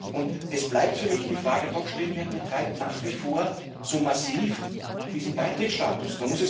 Und es bleibt für mich die Frage doch stehen Wer betreibt nach wie vor so massiv diesen Beitrittsstatus?